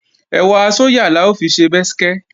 Ẹ̀wà sóyà la ó fi ṣe bẹ́skẹ́